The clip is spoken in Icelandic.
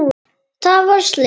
Það varð slys.